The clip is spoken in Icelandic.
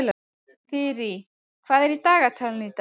Þyrí, hvað er í dagatalinu í dag?